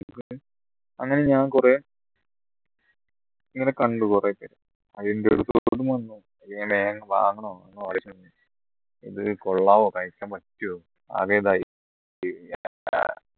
അങ്ങനെ ഞാൻ കുറെ ഇങ്ങനെ കണ്ടു കുറെയൊക്കെ ഇത് കൊള്ളാവോ കഴിക്കാൻ പറ്റുമോ ആകെ ഇതായി